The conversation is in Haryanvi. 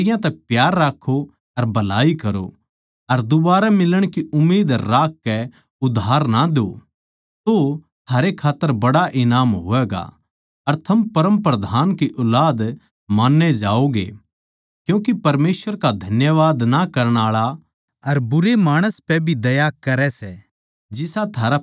बल्के अपणे बैरी तै प्यार राक्खो अर भलाई करो अर दूबारै मिलण की उम्मीद राखकै उधार ना द्यो तो थारे खात्तर बड्ड़ा ईनाम होवैगा अर थम परमप्रधान की ऊलाद मान्ये जाओगे क्यूँके परमेसवर का धन्यवाद ना करण आळा अर बुरे माणस पै भी दया करै सै